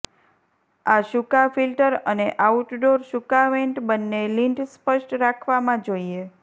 આ સુકાં ફિલ્ટર અને આઉટડોર સુકાં વેન્ટ બંને લિન્ટ સ્પષ્ટ રાખવામાં જોઈએ